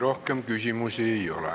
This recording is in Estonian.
Rohkem küsimusi ei ole.